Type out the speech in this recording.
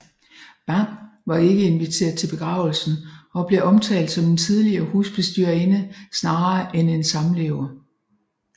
Bang var ikke inviteret til begravelsen og blev omtalt som en tidligere husbestyrerinde snarere end en samlever